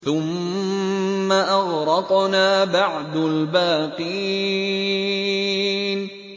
ثُمَّ أَغْرَقْنَا بَعْدُ الْبَاقِينَ